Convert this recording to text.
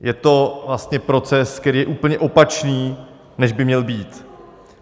Je to vlastně proces, který je úplně opačný, než by měl být.